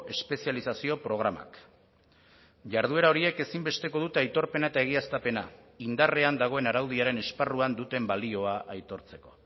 espezializazio programak jarduera horiek ezinbesteko dute aitorpena eta egiaztapena indarrean dagoen araudiaren esparruan duten balioa aitortzeko